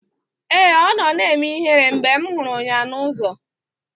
Ee, ọ nọ na-eme ihere mgbe m hụrụ ya n'ụzọ